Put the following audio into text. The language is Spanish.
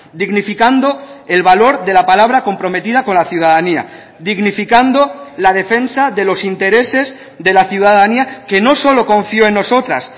dignificando el valor de la palabra comprometida con la ciudadanía dignificando la defensa de los intereses de la ciudadanía que no solo confió en nosotras